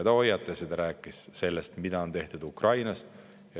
Ta hoiatas meid ja rääkis sellest, mida on tehtud Ukrainas.